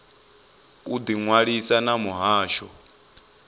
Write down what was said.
u ḓi ṅwalisa na muhasho